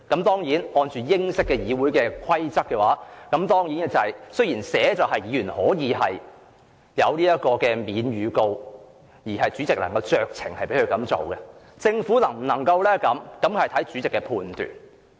當然，按照英式議會規則，雖然議員可獲豁免預告而主席能酌情批准，但政府能否這樣做則視乎主席的判斷。